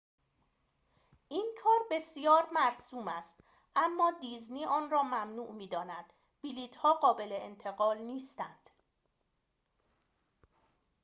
این کار بسیار مرسوم است اما دیزنی آن را ممنوع می‌داند بلیط‌ها قابل انتقال نیستند